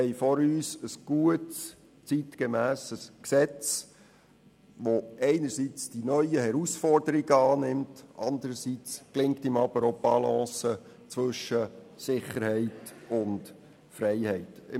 Vor uns liegt ein gutes, zeitgemässes Gesetz, das einerseits die neuen Herausforderungen annimmt und dem andererseits die Balance zwischen Sicherheit und Freiheit gelingt.